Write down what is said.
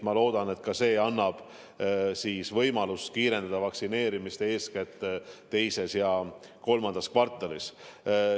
Ma loodan, et see annab võimaluse kiirendada vaktsineerimist eeskätt teises ja kolmandas kvartalis.